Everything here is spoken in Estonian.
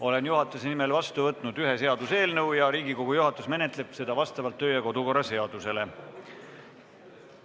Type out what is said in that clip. Olen juhatuse nimel vastu võtnud ühe seaduseelnõu ja Riigikogu juhatus menetleb seda vastavalt meie kodu- ja töökorra seadusele.